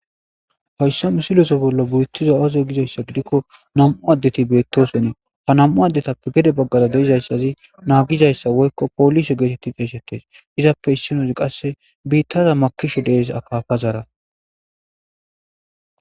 hayssa mu siloso bollo buyetizo awazoy gizayssa gidikko nam7u addeti beetto senii ha nam7u addetappe gede baggada deizayssazi naagizayssa woykko poolise geetetti deesettes izappe issinozi qasse biittaza makishu dees akafazaara